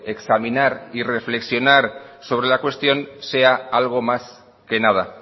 examinar y reflexionar sobre la cuestión sea algo más que nada